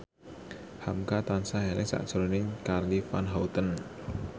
hamka tansah eling sakjroning Charly Van Houten